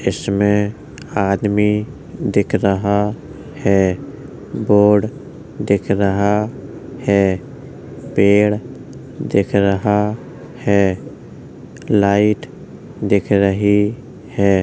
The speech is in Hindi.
इसमें आदमी दिख रहा है। बोर्ड दिख रहा है। पेड़ देख रहा है। लाइट दिख रही है।